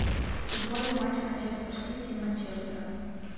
футбольный матч манчестер сити и манчестера